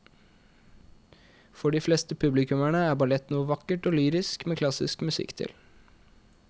For de fleste publikummere er ballett noe vakkert og lyrisk med klassisk musikk til.